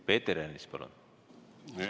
Peeter Ernits, palun!